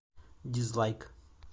дизлайк